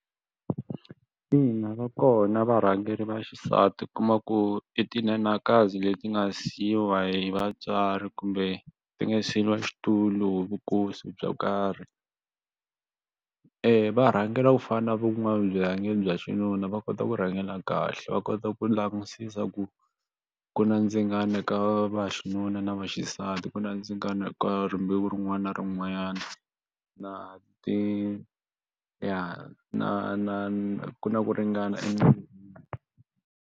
Ina va kona varhangeri va xisati u kuma ku i tinhenhakazi leti nga siyiwa hi vatswari kumbe ti nga siyeriwa xitulu hi vu nkosi byo karhi eya va rhangela ku fana na van'wana vurhangeri bya xinuna va kota ku rhangela kahle va kota ku langusisa ku ku na ndzingano ka vaxinuna na vaxisati ku na ndzingano eka rimbewu rin'wana na rin'wana na ti ya na na na na ku ringana .